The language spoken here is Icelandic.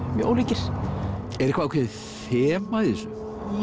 mjög ólíkir er eitthvað ákveðið þema í þessu